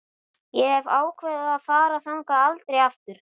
Ég hef ákveðið að fara þangað aldrei aftur.